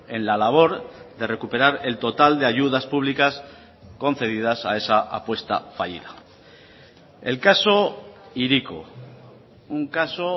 en la labor de recuperar el total de ayudas públicas concedidas a esa apuesta fallida el caso hiriko un caso